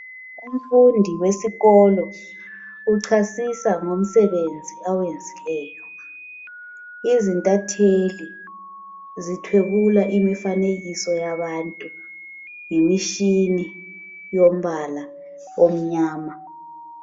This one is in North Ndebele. Umfundi wesikolo uchasisa ngomsebenzi awenzileyo. Izintatheli zithwebula imifanekiso yabantu ngemitshini yombala omnyama.